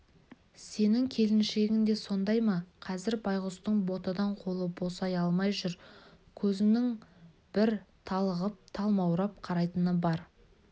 сенің келіншегің де сондай ма қазір байғұстың ботадан қолы босай алмай жүр көзінің бір талығып-талмаурап қарайтыны бар